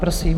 Prosím.